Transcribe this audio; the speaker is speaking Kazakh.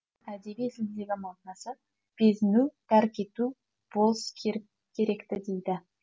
әдеби тілдегі мағынасы безіну тәрк ету болс керек ті дейді